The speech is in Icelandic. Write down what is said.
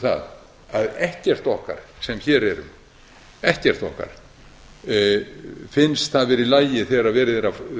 það að ekkert okkar sem hér erum engu okkar finnst það vera í lagi þegar verið er að